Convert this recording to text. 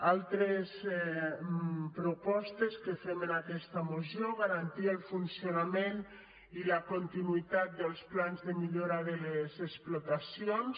altres propostes que fem en aquesta moció garantir el funcionament i la continuïtat dels plans de millo·ra de les explotacions